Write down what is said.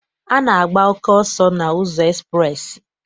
A na-agba oke ọsọ n'ụzọ ekspreesị.